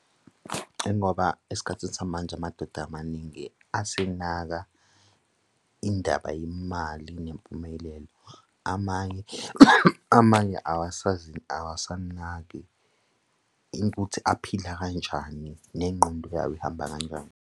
Ingoba esikhathini samanje amadoda amaningi asenaka indaba yemali nempumelelo. Amanye, amanye awasazi awasanaki ikuthi aphila kanjani? Nengqondo yawo ihamba kanjani?